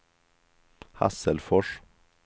Hasselfors